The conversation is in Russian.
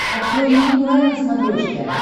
открой мне курай на смотрешке